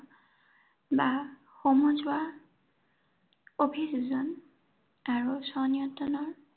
বা সমজুৱা অভিযোজন। আৰু স্বনিয়ন্ত্ৰণৰ